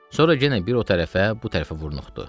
Sonra yenə bir o tərəfə, bu tərəfə vurnuxdu.